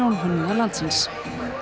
sjónhönnuða landsins